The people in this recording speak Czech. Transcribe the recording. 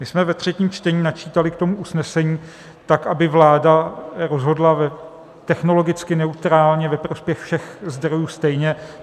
My jsme ve třetím čtení načítali k tomu usnesení tak, aby vláda rozhodla technologicky neutrálně, ve prospěch všech zdrojů stejně.